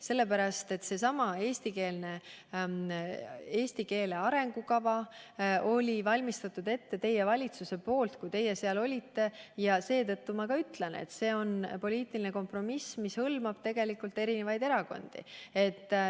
Sellesama eesti keele arengukava oli valmistanud ette teie valitsus, kui teie seal olite, ja seetõttu ma ütlengi, et see on poliitiline kompromiss, mis hõlmab eri erakondi.